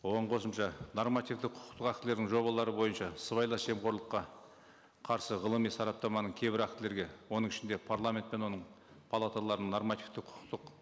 оған қосымша нормативті құқықтық актілерінің жобалары бойынша сыбайлас жемқорлыққа қарсы ғылыми сараптаманың кейбір актілерге оның ішінде парламент пен оның палаталарының нормативті құқықтық